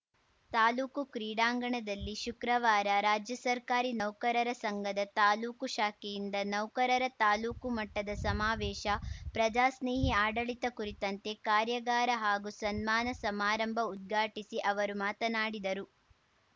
ತಾಲೂಕು ಕ್ರೀಡಾಂಗಣದಲ್ಲಿ ಶುಕ್ರವಾರ ರಾಜ್ಯ ಸರ್ಕಾರಿ ನೌಕರರ ಸಂಘದ ತಾಲೂಕು ಶಾಖೆಯಿಂದ ನೌಕರರ ತಾಲೂಕು ಮಟ್ಟದ ಸಮಾವೇಶ ಪ್ರಜಾ ಸ್ನೇಹಿ ಆಡಳಿತ ಕುರಿತಂತೆ ಕಾರ್ಯಾಗಾರ ಹಾಗೂ ಸನ್ಮಾನ ಸಮಾರಂಭ ಉದ್ಘಾಟಿಸಿ ಅವರು ಮಾತನಾಡಿದರು